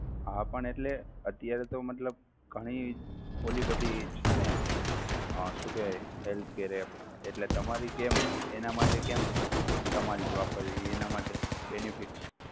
હા પણ એટલે અત્યારે તો મતલબ ઘણી ઓલી બધી છે ને અમ શું કેહવાય healthcare app એટલે તમારી જેમ એના માટે કેમ તમારી જ વાપરવી એના માટે benifits